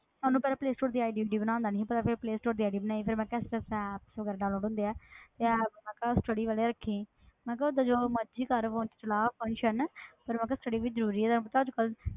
ਉਹਨੂੰ ਪਹਿਲਾਂ play store ਦੀ ID ਊਈਡੀ ਬਣਾਉਣ ਦਾ ਨੀ ਸੀ ਪਤਾ ਫਿਰ play store ਦੀ ID ਬਣਾਈ ਫਿਰ ਮੈਂ ਕਿਹਾ ਇਸ ਇਸ ਤਰ੍ਹਾਂ app ਵਗ਼ੈਰਾ download ਹੁੰਦੇ ਆ ਤੇ app ਮੈਂ ਕਿਹਾ study ਵਾਲੇ ਰੱਖੀਂ ਮੈਂ ਕਿਹਾ ਓਦਾਂ ਜੋ ਮਰਜ਼ੀ ਕਰ phone 'ਚ ਚਲਾ function ਪਰ ਮੈਂ ਕਿਹਾ study ਵੀ ਜ਼ਰੂਰੀ ਹੈ, ਤੈਨੂੰ ਪਤਾ ਅੱਜ ਕੱਲ੍ਹ,